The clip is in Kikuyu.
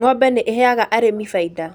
Ng'ombe nĩ ĩheaga arĩmi faida